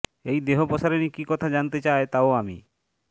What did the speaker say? এই দেহ পসারিনী কী কথা জানাতে চায় তাও আমি